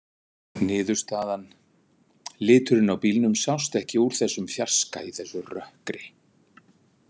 Niðurstaðan: Liturinn á bílnum sást ekki úr þessum fjarska í þessu rökkri.